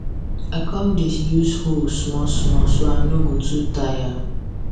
i con dey use hoe small small so i no go too tire